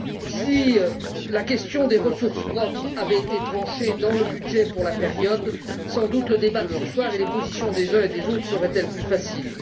Si la question des ressources propres avait été tranchée dans le budget pour la période, sans doute le débat de ce soir et les positions des uns et des autres seraient ils plus faciles.